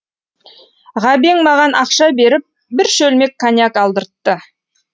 ғабең маған ақша беріп бір шөлмек коньяк алдыртты